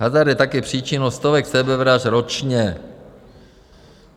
Hazard je také příčinou stovek sebevražd ročně.